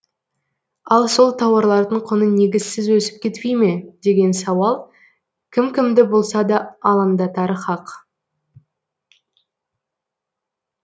ал сол тауарлардың құны негізсіз өсіп кетпей ме деген сауал кім кімді болса да алаңдатары хақ